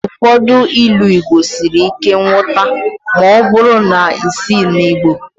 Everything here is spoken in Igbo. Ụfọdụ Ilu Igbo siri ike nghọta ma ọ bụrụ na isighị na Igbo